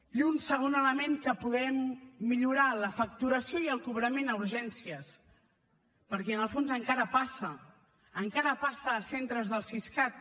i un segon element que podem millorar la facturació i el cobrament a urgències perquè en el fons encara passa encara passa a centres del siscat